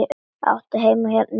Áttu heima hérna í bænum?